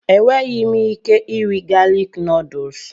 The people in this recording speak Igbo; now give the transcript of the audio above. Enweghị m ike iri galik nuduls.